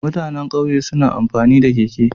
Mutanan ƙauye suna amfani da keke